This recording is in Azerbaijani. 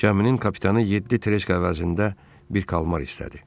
Gəminin kapitanı yeddi treşka əvəzində bir kalmar istədi.